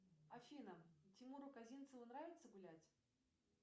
афина тимуру козинцеву нравится гулять